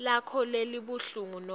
lakho lebulunga nobe